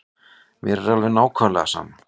Mér er alveg nákvæmlega sama.